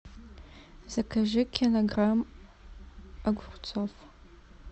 закажи килограмм огурцов